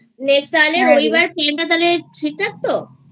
Next হ্যাঁ তাহলে রবিবার Plan টা তাহলে ঠিক ঠাক তো?